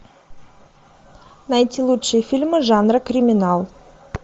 найти лучшие фильмы жанра криминал